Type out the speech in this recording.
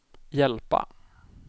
hjälpa